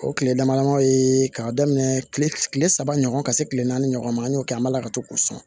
O tile damadamani ye k'a daminɛ kile saba ɲɔgɔn ka se kile naani ɲɔgɔn ma an y'o kɛ an balaka to k'u sɔn